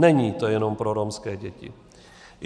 Není to jenom pro romské děti.